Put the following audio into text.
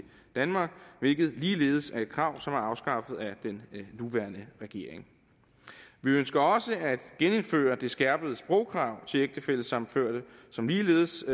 danmark hvilket ligeledes er et krav som er afskaffet af den nuværende regering vi ønsker også at genindføre det skærpede sprogkrav til ægtefællesammenførte som ligeledes